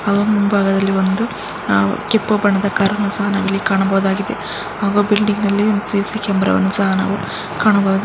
ಮುಂಭಾಗದಲ್ಲಿ ಒಂದು ಆ ಕೆಂಪು ಬಣ್ಣದಾ ಕಾರ್ ಅನ್ನು ಸಹ ನಾವಿಲ್ಲಿ ಕಾಣಬಹುದಾಗಿದೆ. ಕಾಣಬಹು--